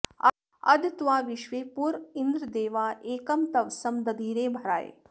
अध त्वा विश्वे पुर इन्द्र देवा एकं तवसं दधिरे भराय